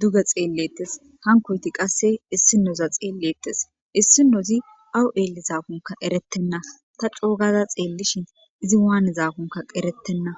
duga xeellettes hankoyti qasse issinoza xeellettes issinozi awu eelli zaakunka erettenna ta coogaza xeellishin izi waane zaakunka erettenna